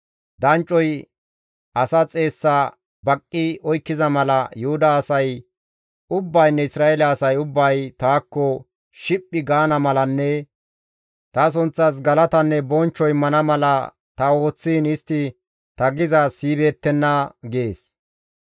Danccoy asa xeessa baqqi oykkiza mala Yuhuda asay ubbaynne Isra7eele asay ubbay taakko shiphphi gaana malanne ta sunththas galatanne bonchcho immana mala ta ooththiin istti ta gizaaz siyibeettenna» gees.